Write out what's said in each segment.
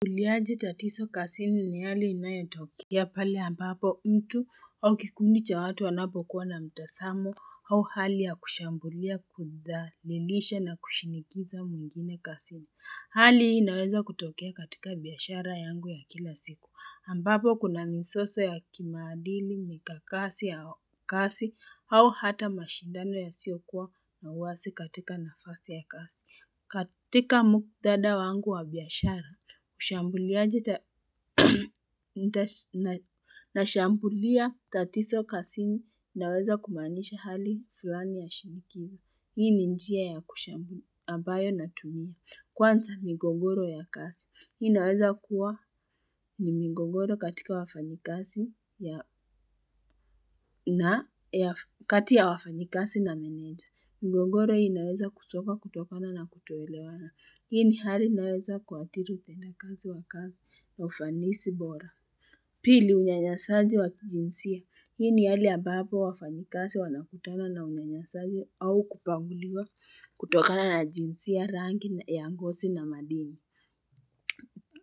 Kuliaji tatizo kazini ni hali inayotoka ya pale ambapo mtu au kikundi cha watu wanapo kuwa na mtazamo au hali ya kushambulia kudhalilisha na kushinikiza mwingine kazini Hali hii inaweza kutokea katika biashara yangu ya kila siku ambapo kuna mizozo ya kimaadili mikakasi ya kazi au hata mashindano yasiyokuwa na uwazi katika nafasi ya kazi katika muktadha wangu wa biashara na nashambulia tatizo kasini naweza kumaanisha hali fulani ya shinikiri. Hii ni njia ya kushambulia anbayo natumia. Kwanza migongoro ya kazi. Hii naweza kuwa ni migogoro katika wafanyikazi ya, kati ya wafanyikazi na meneja. Migogoro hii naweza kutoka kutokana na kutoelewana. Hii ni hali naweza kuathiri utendakazi wa kazi na ufanisi bora. Pili, unyanyasaji wa kijinsia. Hii ni hali ambapo wafanyikazi wanakutana na unyanyasaji au kubaguliwa kutokana na jinsia rangi ya ngosi na madini.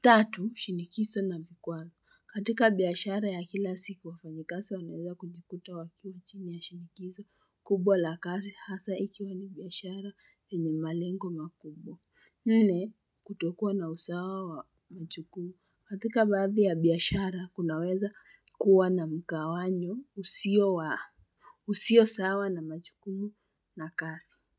Tatu, shinikizo na vikwazo. Katika biashara ya kila siku wafanyikazi wanaweza kujikuta wakiwa chini ya shinikizo kubwa la kazi hasa ikiwa ni biashara enye malengo makubwa. Nne kutokuwa na usawa wa majukumu. Katika baadhi ya biashara kunaweza kuwa na mgawanyo usio sawa na majukumu na kazi.